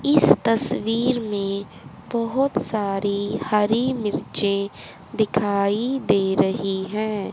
इस तस्वीर में बहोत सारी हरी मिर्चें दिखाई दे रहीं हैं।